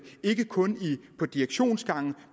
ikke kun på direktionsgangene